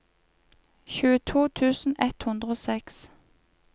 tjueto tusen ett hundre og seks